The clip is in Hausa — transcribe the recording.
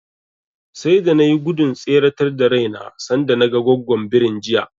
Sai da na nai gudun tseretar da raina sanda naga Goggon birin jiya.